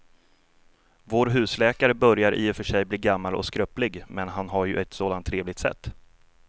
Vår husläkare börjar i och för sig bli gammal och skröplig, men han har ju ett sådant trevligt sätt!